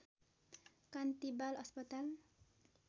कान्ति बाल अस्पताल